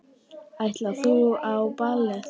Ætlar þú á ballið?